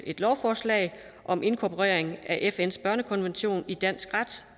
et lovforslag om inkorporering af fns børnekonvention i dansk ret